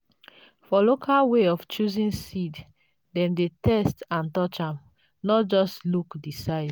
for local way of choosing seed dem dey taste and touch am—not just look the size.